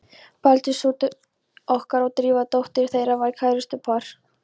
Baldur sonur okkar og Drífa dóttir þeirra voru kærustupar.